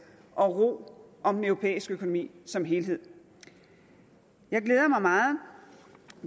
og ro om den europæiske økonomi som helhed jeg glæder mig meget